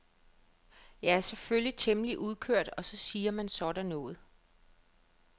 Jeg er selvfølgelig temmelig udkørt og så siger man sådan noget.